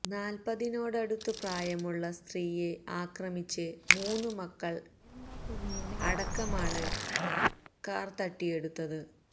നാല്പതിനോടടുത്ത് പ്രായമുള്ള സ്ത്രീയെ ആക്രമിച്ച് മൂന്ന് മക്കള് അടക്കമാണ് കാര് തട്ടിയെടുത്തത്